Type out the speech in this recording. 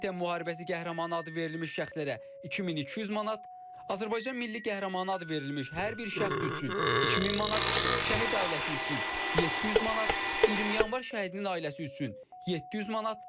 Vətən müharibəsi qəhrəmanı adı verilmiş şəxslərə 2200 manat, Azərbaycan Milli Qəhrəmanı adı verilmiş hər bir şəxs üçün 2000 manat, şəhid ailəsi üçün 700 manat, 20 Yanvar şəhidinin ailəsi üçün 700 manat.